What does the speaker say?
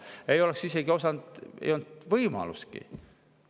Ei oleks osanud, ei olnud sellist võimalustki.